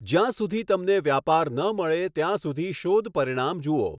જ્યાં સુધી તમને વ્યાપાર ન મળે ત્યાં સુધી શોધ પરિણામ જુઓ.